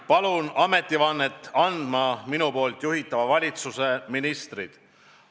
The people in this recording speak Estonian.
Palun ametivannet andma minu juhitava valitsuse ministrid.